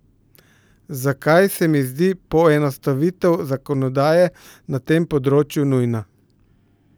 Zakaj se mi zdi poenostavitev zakonodaje na tem področju nujna?